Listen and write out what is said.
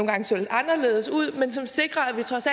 gange så lidt anderledes ud som sikrer